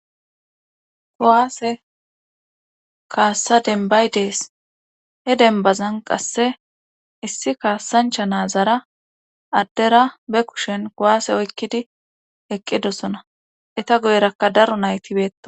Kuwaase kaassa dembay dees he denbazan qasse issi kaasancha naazara addera be kushen kowaase oykkidi eqqidosona eta goyrakka daro naytibeettosona.